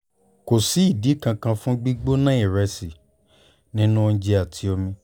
kò sí ìdí kankan fún gbígbóná ìrẹsì nínú oúnjẹ àti omi